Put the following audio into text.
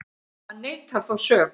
Hann neitar þó sök